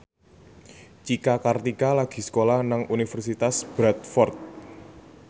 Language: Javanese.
Cika Kartika lagi sekolah nang Universitas Bradford